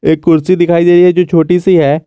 एक कुर्सी दिखाई दे रही है जो छोटी सी है।